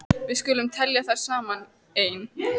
Við skulum telja þær saman: Ein.